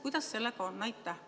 Kuidas sellega on?